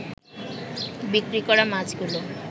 বিক্রি করা মাছগুলো